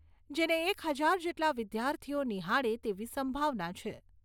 જેને એક હજાર જેટલા વિદ્યાર્થીઓ નિહાળે તેવી સંભાવના છે.